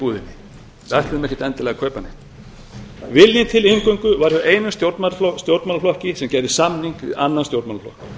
búðinni við ætluðum ekkert endilega að kaupa neitt viljinn til inngöngu var hjá einum stjórnmálaflokki sem gerði samning við annan stjórnmálaflokk